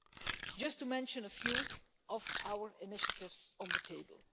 So this is just to mention a few of our initiatives on the table.